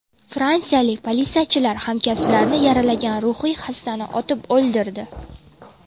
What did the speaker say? Fransiyalik politsiyachilar hamkasblarini yaralagan ruhiy xastani otib o‘ldirdi.